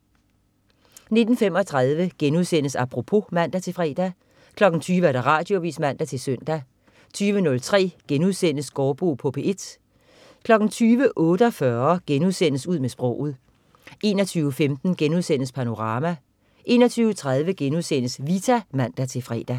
19.35 Apropos* (man-fre) 20.00 Radioavis (man-søn) 20.03 Gaardbo på P1* 20.48 Ud med sproget* 21.15 Panorama* 21.30 Vita* (man-fre)